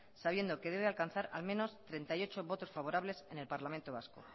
sabiendo que debe alcanzar al menos treinta y ocho votos favorables en el parlamento vasco